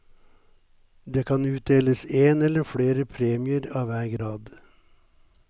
Det kan utdeles en eller flere premier av hver grad.